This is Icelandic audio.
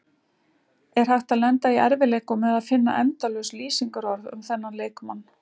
Er hægt að lenda í erfiðleikum með að finna endalaus lýsingarorð um þennan leikmann?